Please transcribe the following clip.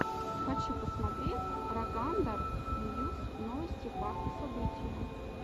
хочу посмотреть рогандар ньюс новости факты события